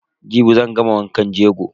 Jibi zan gama wankan jego.